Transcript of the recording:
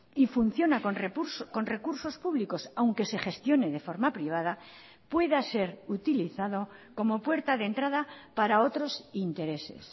y funciona con recursos públicos aunque se gestione de forma privada pueda ser utilizado como puerta de entrada para otros intereses